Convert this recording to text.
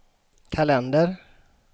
kalender